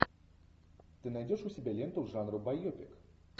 ты найдешь у себя ленту жанра байопик